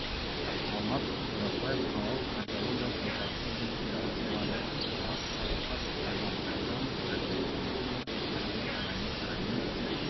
алмат қодасбаев қалалық кардиологиялық орталықтың директоры авторлары алмас садуақас ерлан әбжанов айгүл дементьева майқұдық мәдениет сарайының